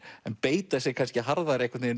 en beita sig kannski harðari